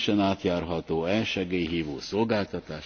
Pane předsedající, pane komisaři,